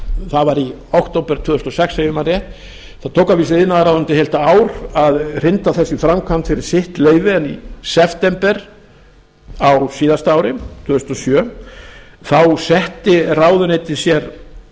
það var í október tvö þúsund og sex ef ég man rétt það tók að vísu iðnaðarráðuneytið heilt ár að hrinda þessu í framkvæmd fyrir sitt leyti en í september á síðasta ári tvö þúsund og sjö þá setti ráðuneytið sér